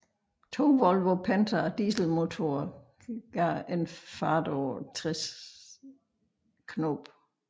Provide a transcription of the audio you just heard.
To Volvo Penta dieselmotorer gav en fart på 16 knob